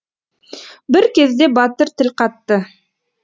бір кезде батыр тіл қатты